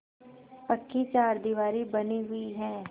पक्की चारदीवारी बनी हुई है